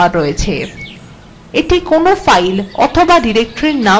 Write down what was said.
এটা কোনো file অথবা directory নাম পরিবর্তন করতে ব্যবহৃত হয়